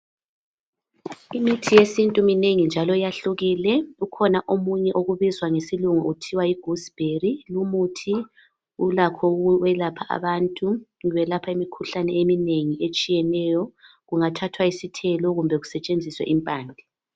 Imithi yesintu iminengi njalo yahlukile. Kukhona omunye obizwa ngesilungu kuthiwa yigoose berry. Lumuthi ulakho ukwelapha abantu, welapha imikhuhlane eminengi etshiyeneyo kungathathwa isithelo kumbe kusetshenziswe impande.